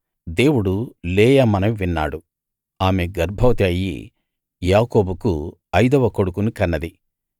దేవుడు లేయా మనవి విన్నాడు ఆమె గర్భవతి అయ్యి యాకోబుకు అయిదవ కొడుకుని కన్నది